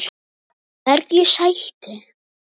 Hverju sætti?